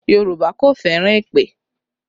Yorùbá kò fẹ́ràn èpè